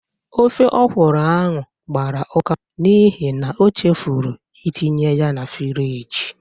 Ofe ọkwụrụ ahụ gbara ụka n'ihi na o chefuru itinye ya na friji